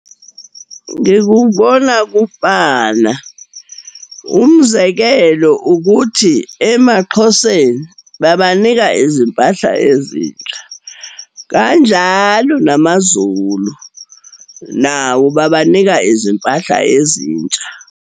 Ngikubona kufana. Umzekelo ukuthi, emaXhoseni babanika izimpahla ezintsha, kanjalo namaZulu, nawo, babanika izimpahla ezintsha.